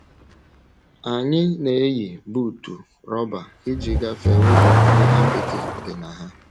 Anyị na - eyi buutu rọba iji gafee ụzọ ndị apịtị dị na ha.